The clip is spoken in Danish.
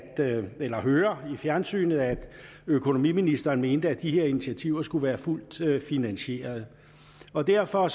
høre i fjernsynet at økonomiministeren mente at de her initiativer skulle være fuldt finansierede og derfor